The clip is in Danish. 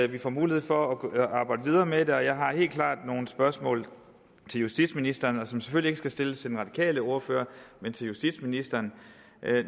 vi får mulighed for at arbejde videre med det og jeg har helt klart nogle spørgsmål til justitsministeren som selvfølgelig ikke skal stilles til den radikale ordfører men til justitsministeren